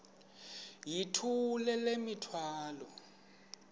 yithula le mithwalo